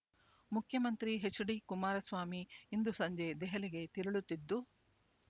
ಮುಖ್ಯಮಂತ್ರಿ H D Kumaraswamy ಇಂದು ಸಂಜೆ ದೆಹಲಿಗೆ ತೆರಳುತ್ತಿದ್ದು